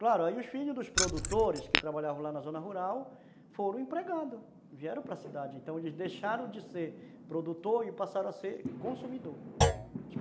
Claro, aí os filhos dos produtores que trabalhavam lá na zona rural foram empregados, vieram para cidade, então eles deixaram de ser produtor e passaram a ser consumidor, uhum.